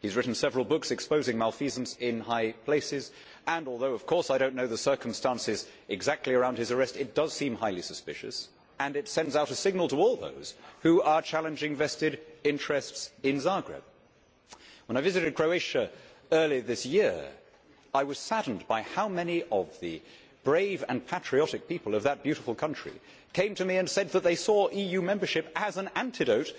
He has written several books exposing malfeasance in high places and although, of course, I do not know the circumstances exactly around his arrest, it does seem highly suspicious and it sends out a signal to all those who are challenging vested interests in Zagreb. When I visited Croatia earlier this year, I was saddened by how many of the brave and patriotic people of that beautiful country came to me and said that they saw EU membership as an antidote